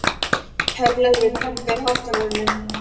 Herleifur, hækkaðu í hátalaranum.